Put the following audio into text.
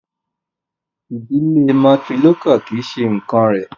Ìdílé matrilocal kì í ṣe nǹkán rẹ̀.